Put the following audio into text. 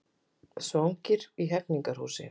Svangir í Hegningarhúsi